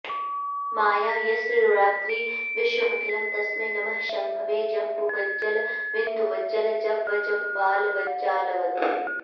माया यस्य रुणाद्धि विश्वमखिलं तस्मै नमः शम्भवे जम्बुवज्जलबिन्दुवज्जलजवज्जम्बालवज्जालवत्